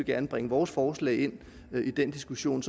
gerne bringe vores forslag ind i den diskussion